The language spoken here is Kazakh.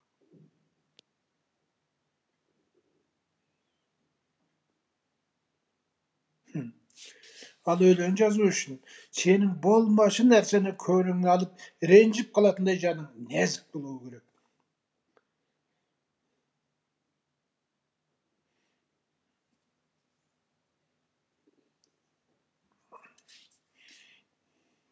ал өлең жазу үшін сенің болмашы нәрсені көңіліңе алып ренжіп қалатындай жаның нәзік болуы керек